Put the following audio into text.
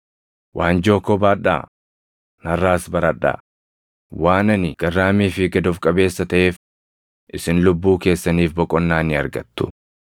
Waanjoo koo baadhaa; narraas baradhaa; waan ani garraamii fi gad of qabeessa taʼeef isin lubbuu keessaniif boqonnaa ni argattu.